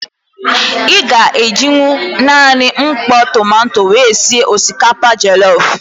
Ị ga-ejinwu naanị mkpọ tomanto wee sị osikapa jọlọf.